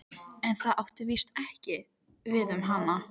En það átti víst ekki við um hana.